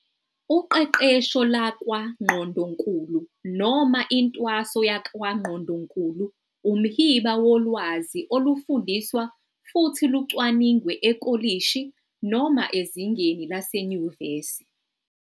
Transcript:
Uqeqesho lakwaNgqondonkulu noma intwaso yakwangqondonkulu umhiba wolwazi olufundiswa futhi lucwaningwe ekolishi noma ezingeni lasenyuvesi.